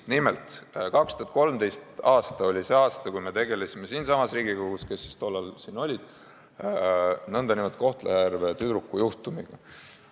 Nimelt, 2013. aasta oli see aasta, kui me tegelesime siinsamas Riigikogus nn Kohtla-Järve tüdruku juhtumiga.